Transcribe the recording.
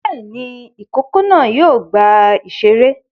Bẹ́ẹ̀ ni, ìkókó náà yóò gba ìṣeré.